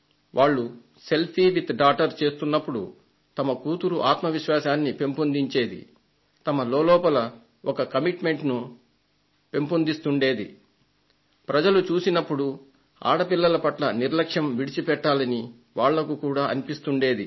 వాళ్లు selfie with daughter చేస్తున్నప్పుడు అది వారి కుమార్తె ఆత్మ విశ్వాసాన్ని పెంపొందించేది వారి లోలోపల కూడా ఒక నిబద్ధతను పెంపొందిస్తూ ఉండేది ప్రజలు చూసినప్పుడు ఆడపిల్లల పట్ల నిర్లక్ష్యం విడిచి పెట్టాలని వాళ్లకు కూడా అనిపిస్తుండేది